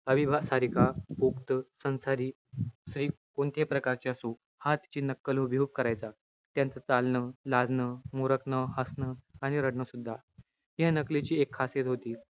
अविवाद सारिका, पोक्त, संसारी, स्त्री कोणत्याही प्रकारची असो. हा तिची नक्कल हुबेहूब करायचा. त्यांचं चालणं, लाजणं, मुरकणं, हसणं आणि रडणं सुद्धा. ह्या नकलेची एक खासियत होती.